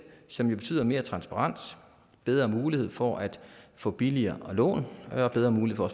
som betyder mere transparens bedre mulighed for at få billigere lån og bedre mulighed for at